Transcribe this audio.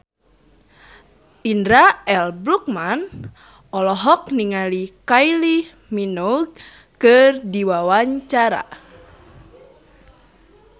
Indra L. Bruggman olohok ningali Kylie Minogue keur diwawancara